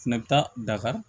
Fɛnɛ bɛ taa dakari